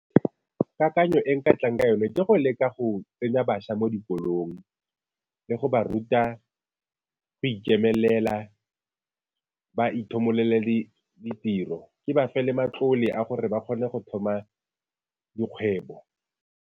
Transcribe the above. Kakanyo e nka tlang ka yone ke go leka go tsenya bašwa mo dikolong le go ba ruta go ikemelela, ba ithomololele ditiro ke ba fa le matlole a gore ba kgone go thoma dikgwebo.